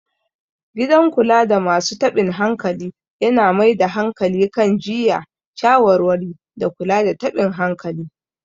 Gidan kulada masu taɓin hankali yana mai da hankali kan jiyya, shawarwari, da kula da taɓin hankali.